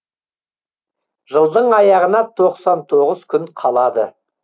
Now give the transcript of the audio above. жылдың аяғына тоқсан тоғыз күн қалады